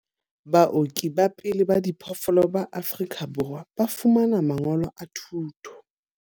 Baoki ba pele ba diphoofolo ba Afrika Borwa ba fumana mangolo a thuto.